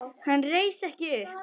Hann reis ekki upp.